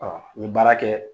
n mi baara kɛ